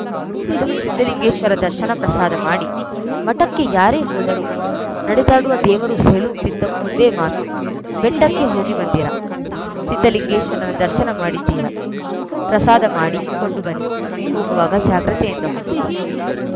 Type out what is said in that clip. ಮೊದಲು ಸಿದ್ದಲಿಂಗೇಶ್ವರ ದರ್ಶನ ಪ್ರಸಾದ ಮಾಡಿ ಮಠಕ್ಕೆ ಯಾರೇ ಹೋದರೂ ನಡೆದಾಡುವ ದೇವರು ಹೇಳುತ್ತಿದ್ದ ಒಂದೇ ಮಾತು ಬೆಟ್ಟಕ್ಕೆ ಹೋಗಿ ಬಂದಿರಾ ಸಿದ್ದಲಿಂಗೇಶ್ವರನ ದರ್ಶನ ಮಾಡಿದಿರಾ ಪ್ರಸಾದ ಮಾಡಿಕೊಂಡು ಬನ್ನಿ ಹೋಗುವಾಗ ಜಾಗ್ರತೆಯಿಂದ ಹೋಗಿ